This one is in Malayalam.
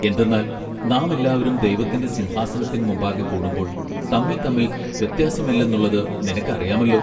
എന്തെന്നാൽ നാം എല്ലാവരും ദൈവത്തിന്റെ സിംഹാസനത്തിൻ മുമ്പാകെ കൂടുമ്പോൾ തമ്മിൽ തമ്മിൽ വ്യത്യാസമില്ലെന്നുള്ളത് നിനക്ക് അറിയാമല്ലൊ.